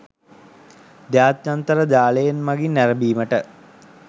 ජාත්‍යන්තර ජාලයන් මගින් නැරඹීමට